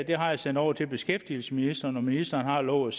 jeg sendt over til beskæftigelsesministeren og ministeren har lovet